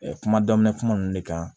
kuma daminɛ kuma ninnu ne kan